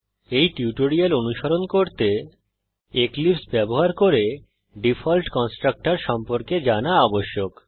এই টিউটোরিয়াল অনুসরণ করতে এক্লীপ্স ব্যবহার করে ডিফল্ট কন্সট্রকটর সম্পর্কে জানা আবশ্যক